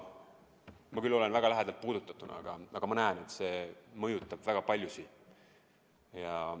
Ma küll olen väga lähedalt puudutatud, aga ma näen, et see mõjutab väga paljusid.